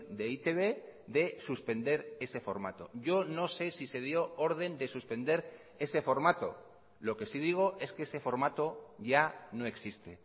de e i te be de suspender ese formato yo no sé si se dio orden de suspender ese formato lo que sí digo es que ese formato ya no existe